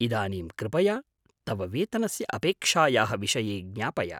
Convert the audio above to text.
इदानीं कृपया तव वेतनस्य अपेक्षायाः विषये ज्ञापय।